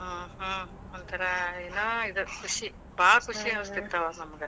ಹ್ಮ್ ಒಂಥರಾ ಏನೋ ಇದ ಖುಷಿ. ಭಾಳ್ ಖುಷಿ ಅನಿಸ್ತಿತ್ತ ಆವಾಗ ನಮ್ಗ,